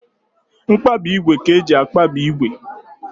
Mkpabi ígwè ka eji akpabi ígwè